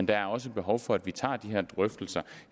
der er også behov for at vi tager de her drøftelser